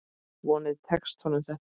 Vonandi tekst honum þetta.